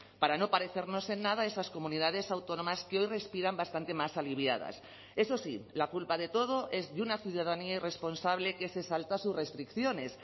para no parecernos en nada a esas comunidades autónomas que hoy respiran bastante más aliviadas eso sí la culpa de todo es de una ciudadanía irresponsable que se salta sus restricciones